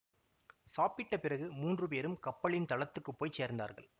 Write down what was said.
சாப்பிட்ட பிறகு மூன்று பேரும் கப்பலின் தளத்துக்குப் போய் சேர்ந்தார்கள்